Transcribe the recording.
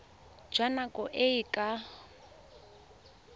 jwa nako e e ka